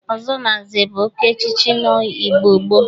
Ọzọ na nze bụ oke echiche n'Igbo gboo.